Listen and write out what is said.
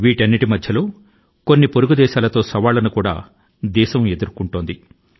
వీటన్నిటి మధ్య మన పొరుగు దేశాల తో కూడా మన దేశం కొన్ని సవాళ్ళ ను ఎదుర్కోవలసి వచ్చింది